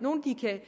nogle de kan